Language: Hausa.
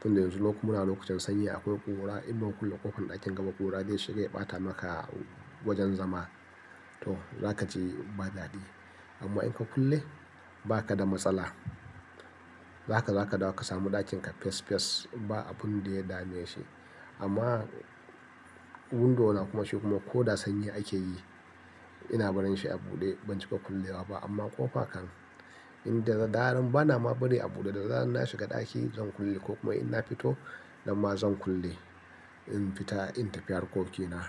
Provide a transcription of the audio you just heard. Tun da yanzu lok muna lokacin sanyi akwai ƙura. In ba ku kulle ƙofar ɗakin ba, ƙura zai shiga ya ɓata maka wajen zama. To zaka ji ba dadi. Amma in ka kulle ba ka da matsala. Zaka, za ka dawi ka samu ɗakin ka fes fes ba abin da ya dame shi. Amma window na kuma shi kuma ko da sanyi ake yi, ina barin shi a buɗe ban cika kullewa ba. Amma ƙofa kan, inda daren bana ma bari a buɗe, da daren na shiga ɗaki zan kulle ko kuma in na fito, nan ma zan kulle. In fita in tafi harkoki na.